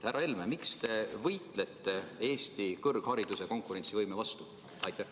Härra Helme, miks te võitlete Eesti kõrghariduse konkurentsivõime vastu?